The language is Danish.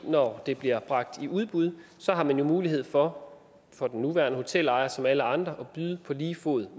når det bliver bragt i udbud har man jo mulighed for for den nuværende hotelejer som alle andre at byde på lige fod